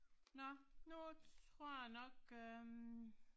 Nå, nu tror jeg nok øh